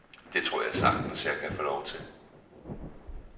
Det tror jeg sagtens, jeg kan få lov til.